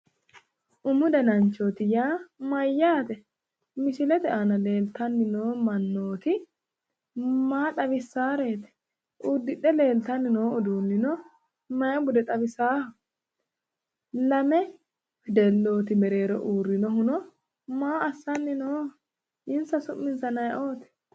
Umu dananchooti yaa mayyaate? Misilete aana leeltanni noo mannooti maa xawissaareeti? Uddidhe leeltanni noo uduunnino mayi bude xawisaaho? Lame wedellooti mereero uurrinohuno maa assanni nooho? Insa su'minsano ayiooti?